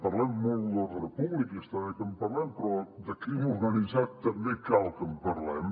parlem molt d’ordre públic i està bé que en parlem però de crim organitzat també cal que en parlem